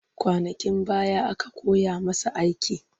Kwanakin baya aka koya masa aiki